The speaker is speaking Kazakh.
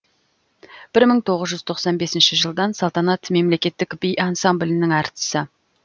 бір мың тоғыз жүз тоқсан бесінші жылдан салтанат мемлекеттік би ансамблінің әртісі